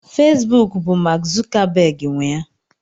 Facebook bụ Mark Zuckerberg nwe ya.